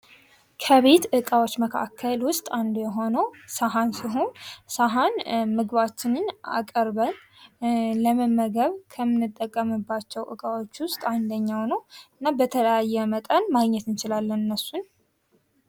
ከቤት ዕቃዎች መካከል ውስጥ አንዱ የሆነው ሰሀን ሲሆን፤ ሰሀን ምግባችንን አቅርበን ለመመገብ ከምንጠቀምባቸው ዕቃዎች ውስጥ አንደኛው ነው። በተለያየ መጠን ማግኘት እንችላለን እነሱን።